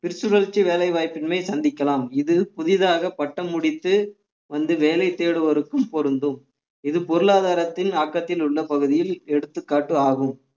திருச்சுழர்ச்சி வேலை வாய்ப்பினை சந்திக்கலாம் இது புதிதாக பட்டம் முடித்து வந்து வேலை தேடுவோருக்கும் பொருந்தும் இது பொருளாதாரத்தின் ஆக்கத்தில் உள்ள பகுதியில் எடுத்துக்காட்டு ஆகும்